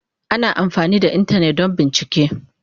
Ana amfani da Intanet don bincike.